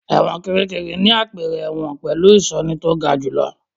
Ẹ̀wọ̀n Kìríkìrí ni àpẹẹrẹ ẹ̀wọ̀n pẹ̀lú ìṣọ́ni tó ga jù lọ.